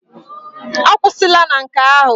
Akwụsịla na nke ahụ!